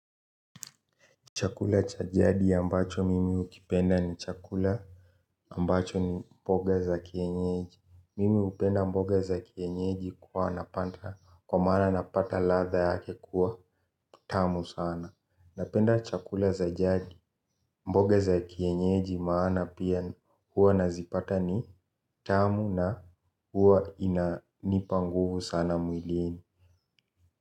Chakula cha jadi ambacho mimi hukipenda ni chakula ambacho ni mboga za kienyeji Mimi hupenda mboga za kienyeji kuwa napata kwa maana napata ladha yake kuwa tamu sana. Napenda chakula za jadi mboga za kienyeji maana pia huwa nazipata ni tamu na huwa inanipa nguvu sana mwilini.